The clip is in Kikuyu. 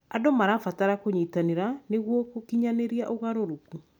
Andũ marabatara kũnyitanĩra nĩguo gũkinyanĩria mogarũrũku.